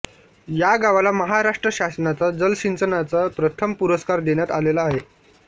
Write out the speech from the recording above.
या गावाला महाराष्ट्र शासनाचा जलसिंचनाचा प्रथम पुरस्कार देण्यात आलेला आहे